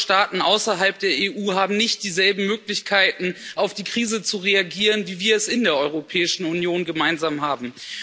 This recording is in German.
Ärmere Staaten außerhalb der EU haben nicht dieselben Möglichkeiten, auf die Krise zu reagieren, wie wir es in der Europäischen Union gemeinsam haben.